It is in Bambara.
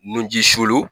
Nunji solo